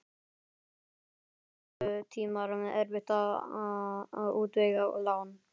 Og þetta voru krepputímar, erfitt að útvega lán.